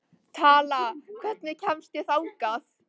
Tala, hvernig kemst ég þangað?